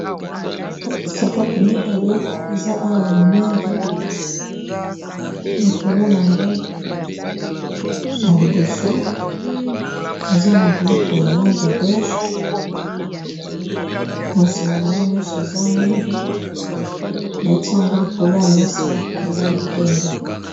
Sapato mibale eza awa ya mwindu likolo na yango na liboso eza na biloko ya langi ya bege na sima nango nyonso eza mwindu batia yango likolo ya mesa eza ya pembe.